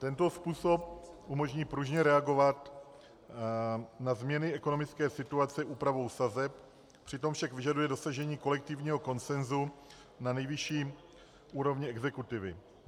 Tento způsob umožní pružně reagovat na změny ekonomické situace úpravou sazeb, přitom však vyžaduje dosažení kolektivního konsenzu na nejvyšší úrovni exekutivy.